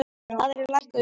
Aðrir lækkuðu minna.